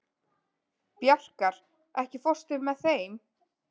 Bjarkar, ekki fórstu með þeim?